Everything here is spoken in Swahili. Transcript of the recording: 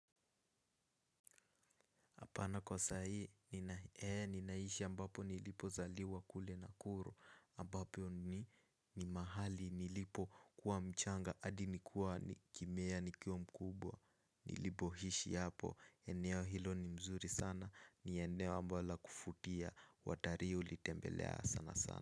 Hapana kwa saa hii, ninaishi ambapo nilipozaliwa kule Nakuru, ambapo ni mahali nilipokuwa mchanga hadi nikuwa nikimea nikiwa mkubwa. Nilipohishi hapo, eneo hilo ni mzuri sana, ni eneo ambao la kufutia, watarii hulitembelea sana sana.